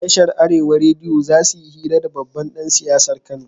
Tashar arewa rediyo zasuyi hira da babban dan siyasar kano